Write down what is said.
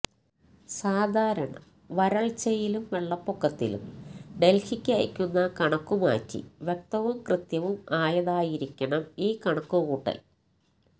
സാധാരണ വരള്ച്ചയിലും വെള്ളപ്പൊക്കത്തിലും ഡല്ഹിക്ക് അയക്കുന്ന കണക്ക് മാറ്റി വ്യക്തവും കൃത്യവും ആയതായിരിക്കണം ഈ കണക്കുകൂട്ടല്